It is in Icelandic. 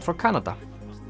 frá Kanada